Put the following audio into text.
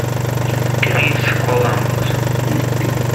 крис коламбус